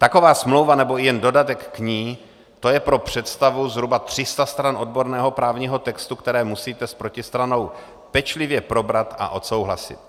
Taková smlouva nebo i jen dodatek k ní, to je pro představu zhruba 300 stran odborného právního textu, které musíte s protistranou pečlivě probrat a odsouhlasit.